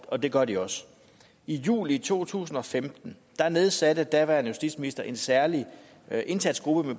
og det gør de også i juli to tusind og femten nedsatte den daværende justitsminister en særlig indsatsgruppe